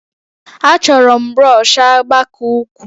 Achọrọ m brọsh agba ka ukwuu